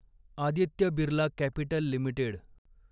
Aditya Birla Capital limited